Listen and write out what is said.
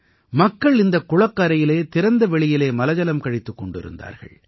மக்கள் இந்தக் குளக்கரையிலே திறந்த வெளியிலே மலஜலம் கழித்துக் கொண்டிருந்தார்கள்